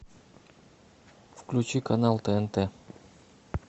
включи канал тнт